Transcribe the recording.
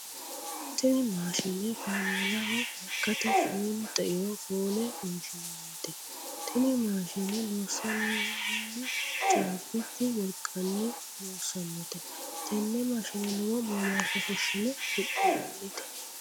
Tinni maashinne kaameelaho lekate foolu xeiro fuule fonshinnannite. Tinni maashinne loosanu caabichu wolqanni loosanote. Tenne maashinne lowo womaasha fushinne hidhinannite.